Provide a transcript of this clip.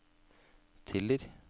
Tiller